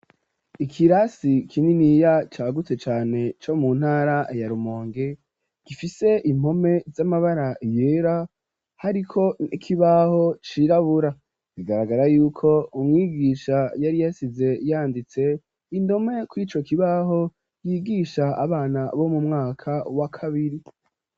Ikirasi kininiya cagutse cane co mu ntara ya romonge gifise impome z'amabara yera hariko nkibaho cirabura bigaragara yuko umwigisha yari yasize yanditse indome kw'ico kibaho yigisha abana bo mu mwaka wa kabiri.